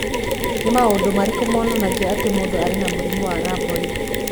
Nĩ maũndũ marĩkũ monanagia atĩ mũndũ arĩ na mũrimũ wa Rhabdoid?